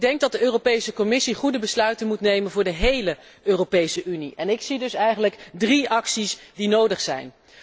Ik denk dat de Commissie goede besluiten moet nemen voor de hele Europese Unie, en ik zie dus eigenlijk drie acties die nodig zijn.